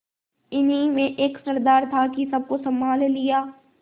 इन्हीं में एक सरदार था कि सबको सँभाल लिया